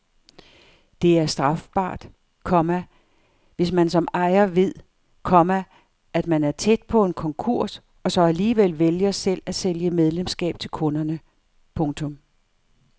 Det er strafbart, komma hvis man som ejer ved, komma at man er tæt på en konkurs og så alligevel vælger selv at sælge medlemskab til kunderne. punktum